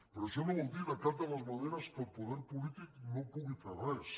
però això no vol dir de cap de les maneres que el poder polític no pugui fer res